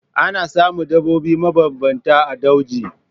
Ana samun daɓobi mabambanta a dauji.